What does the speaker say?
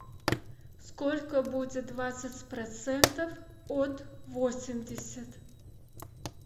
сколько будет двадцать процентов от восемьдесят